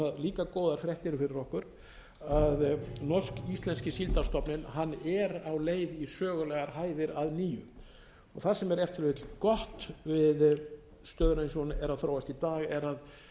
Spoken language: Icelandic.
líka góðar fréttir fyrir okkur að norsk íslenski síldarstofninn er á leið í sögulegar hæðir að nýju það sem er ef til vill gott við stöðuna eins og hún að þróast í dag er að